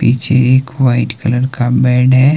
पीछे एक white colour का बेड है।